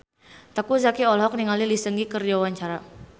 Teuku Zacky olohok ningali Lee Seung Gi keur diwawancara